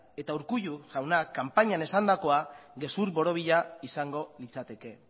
eta urkullu jaunak kanpainan esandakoa gezur borobila izango litzateke